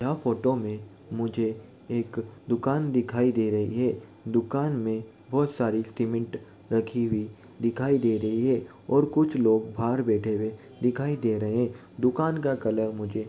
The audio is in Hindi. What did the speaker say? यह फोटो में मुझे एक दुकान दिखाईं दे रही है दुकान में बहुत सारी सीमेन्ट रखी हुए दिखाई दे रही है और कुछ लोग बाहर बैठे हुए दिखाई दे रहे हैं। दुकान का कलर मुझे --